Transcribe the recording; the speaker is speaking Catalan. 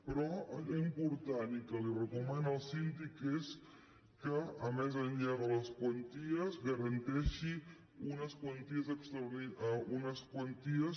però allò important i que li recomana el síndic és que més enllà de les quanties garanteixi unes quanties